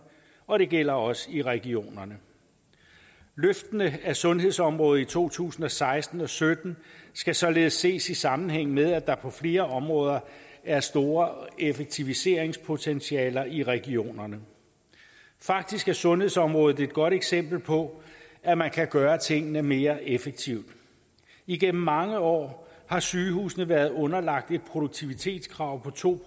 og det gælder også i regionerne løftene af sundhedsområdet i to tusind og seksten og sytten skal således ses i sammenhæng med at der på flere områder er store effektiviseringspotentialer i regionerne faktisk er sundhedsområdet et godt eksempel på at man kan gøre tingene mere effektivt igennem mange år har sygehusene været underlagt et produktivitetskrav på to